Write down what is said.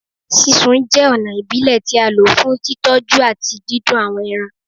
Sisun jẹ ọna ibile ti a lo fun titọju ati didùn awọn ẹran